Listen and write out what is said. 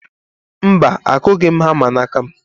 Mba, akụghị m hama n'aka m.